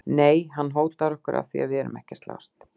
Nei, hann hótar okkur af því að við erum ekki að slást!